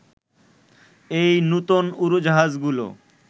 এবং নূতন উড়োজাহাজগুলো